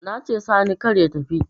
Nace sani kar ya tafi